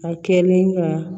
A kɛlen ka